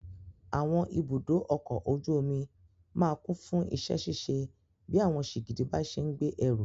Àwọn ibùdó ọkọ̀ ojú omi máa kún fún iṣẹ́ ṣíṣe bí àwọn sìgìdì bá ṣe ń gbé ẹrù.